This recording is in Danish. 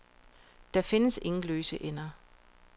Der findes ingen løse ender.